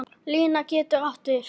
Lína getur átt við